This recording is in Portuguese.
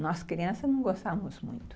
Nós crianças não gostávamos muito.